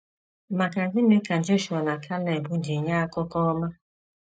Maka gịnị ka Jọshụa na Keleb ji nye akụkọ ọma?